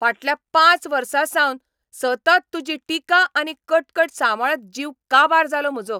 फाटल्या पांच वर्सांसावन सतत तुजी टिकाआनी कटकट सांबाळत जीव काबार जाला म्हजो.